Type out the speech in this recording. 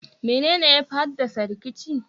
menene yafi haddasa rikici?